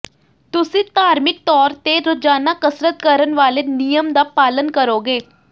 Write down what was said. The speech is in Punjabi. ਤੁਸੀਂ ਧਾਰਮਿਕ ਤੌਰ ਤੇ ਰੋਜ਼ਾਨਾ ਕਸਰਤ ਕਰਨ ਵਾਲੇ ਨਿਯਮ ਦਾ ਪਾਲਣ ਕਰੋਗੇ